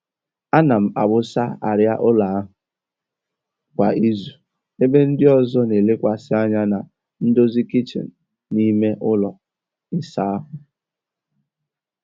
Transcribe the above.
Ana m awụsa arịa ụlọ ahụ kwa izu ebe ndị ọzọ na-elekwasị anya na ndozi kichin na ime ụlọ ịsa ahụ.